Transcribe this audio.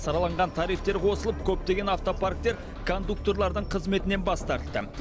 сараланған тарифтер қосылып көптеген автопарктер кондукторлардың қызметінен бас тартты